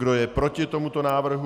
Kdo je proti tomuto návrhu?